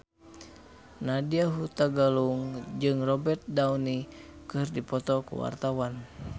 Nadya Hutagalung jeung Robert Downey keur dipoto ku wartawan